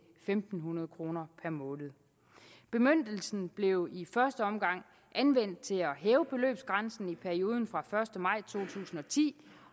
fem hundrede kroner per måned bemyndigelsen blev i første omgang anvendt til at hæve beløbsgrænsen i perioden fra den første maj to tusind og ti